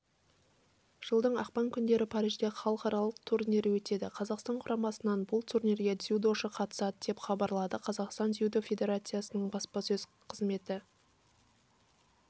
жылдың ақпан күндері парижде халықаралық турнирі өтеді қазақстан құрамасынан бұл турнирге дзюдошы қатысады деп хабарлады қазақстан дзюдо федерациясының баспасөз қызметі